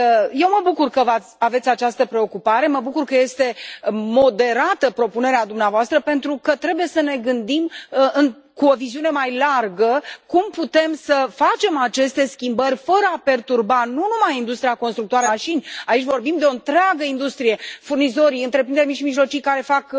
Eu mă bucur că aveți această preocupare, mă bucur că este moderată propunerea dumneavoastră pentru că trebuie să ne gândim cu o viziune mai largă cum putem să facem aceste schimbări fără a perturba nu numai industria constructoare de mașini aici vorbim de o întreagă industrie furnizorii, întreprinderi mici și mijlocii care fac